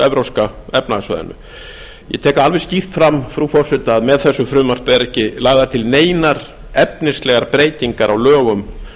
evrópska efnahagssvæðinu ég tek það alveg skýrt fram frú forseti að með þessu frumvarpi eru ekki lagðar til neinar efnislegar breytingar á lögum